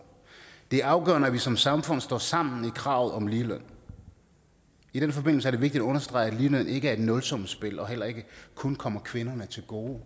det er afgørende at vi som samfund står sammen i kravet om ligeløn i den forbindelse er det vigtigt at understrege at ligeløn ikke er et nulsumsspil og heller ikke kun kommer kvinderne til gode